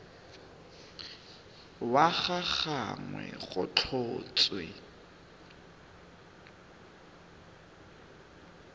wa ga gagwe go tlhotswe